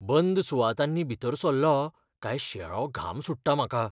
बंद सुवातांनी भीतर सल्लों काय शेळो घाम सुट्टा म्हाका.